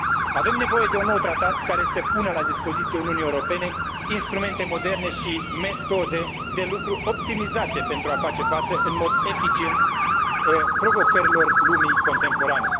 Avem nevoie de un nou tratat care să pună la dispoziția Uniunii Europene instrumente moderne și metode de lucru optimizate pentru a face față în mod eficient provocărilor lumii contemporane.